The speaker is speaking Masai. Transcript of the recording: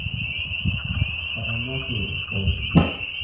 Etanyaki o ninche.